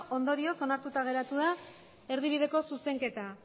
ondorioz onartuta geratu da erdibideko zuzenketa